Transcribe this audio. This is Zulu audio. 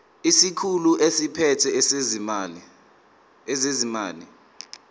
isikhulu esiphethe ezezimali